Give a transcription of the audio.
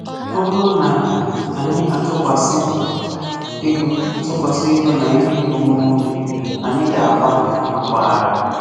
Ọ bụrụ na anyị atụkwasị ego atụkwasị ego na ihe onwunwe obi, anyị ga-akwa mmakwaara.